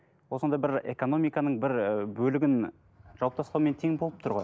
ол сонда бір экономиканың бір і бөлігін жауып тастаумен тең болып тұр ғой